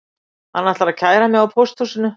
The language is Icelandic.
Hann ætlar að kæra mig á pósthúsinu